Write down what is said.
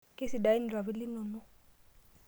Kesidain irpapit linonok.